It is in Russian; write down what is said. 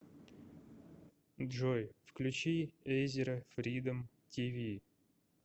джой включи эйзера фридом ти ви